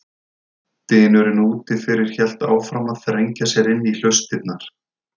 Dynurinn úti fyrir hélt áfram að þrengja sér inn í hlustirnar.